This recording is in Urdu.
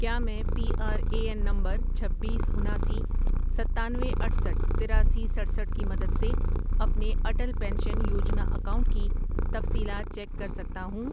کیا میں P R A N number چھبیس، اناسی، ستانوے، اٹھسٹھ ،تراسی، سٹرسٹھ کی مدد سے اپنے اٹل پینشن یوجنا اکاؤنٹ کی تفصیلات چیک کر سکتا ہوں؟